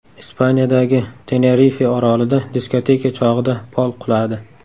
Ispaniyadagi Tenerife orolida diskoteka chog‘ida pol quladi.